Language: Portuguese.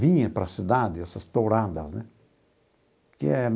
Vinha para a cidade essas touradas né que é.